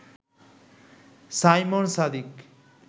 Simon Sadiq